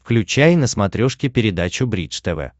включай на смотрешке передачу бридж тв